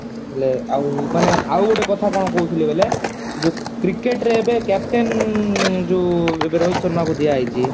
ହେଲେ ଆଉ ମାନେ ଆଉ ଗୋଟେ କଥା କଣ କହୁଥିଲି ବେଲେ ଯୋଉ cricket ରେ ଏବେ captain ଯୋଉ ଏବେ ରୋହିତ ଶର୍ମା କୁ ଦିଆ ହେଇଛି